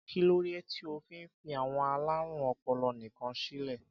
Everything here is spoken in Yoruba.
Kí ló dé tí ó fi fí àwọn alárùn ọpọlọ nìkan sílè?